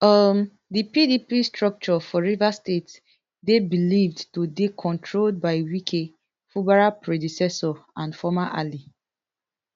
um di pdp structure for rivers state dey believed to dey controlled by wike fubara predecessor and former ally